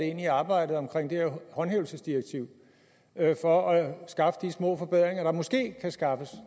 ind i arbejdet om håndhævelsesdirektivet for at skaffe de små forbedringer der måske kan skaffes